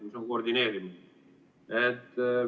See on koordineerimine.